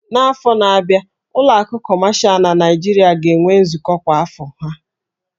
N'afọ na-abịa, ụlọ akụ kọmashal na Nigeria ga-enwe nzukọ kwa afọ ha